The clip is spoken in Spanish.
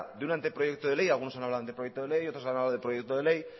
de un anteproyecto de ley algunos han hablado de anteproyecto de ley otros han hablado de proyecto de ley